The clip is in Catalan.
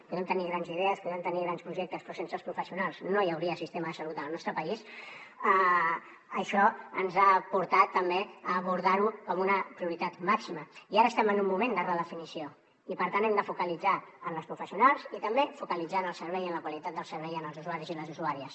podem tenir grans idees podem tenir grans projectes però sense els professionals no hi hauria sistema de salut al nostre país això ens ha portat també a abordar ho com una prioritat màxima i ara som en un moment de redefinició i per tant hem de focalitzar en les professionals i també focalitzar en el servei i en la qualitat del servei per als usuaris i les usuàries